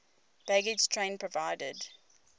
baggage train provided